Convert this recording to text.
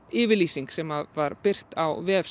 yfirlýsing sem var birt á vef